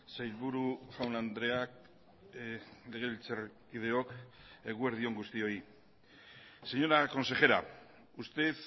sailburu jaun andreak legebiltzarkideok eguerdi on guztioi señora consejera usted